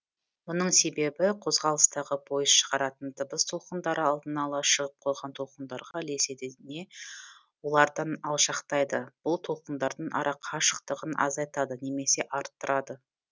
мұның себебі қозғалыстағы пойыз шығаратын дыбыс толқындары алдын ала шығып қойған толқындарға ілеседі не олардан алшақтайды бұл толқындардың арақашықтығын азайтады немесе арттырады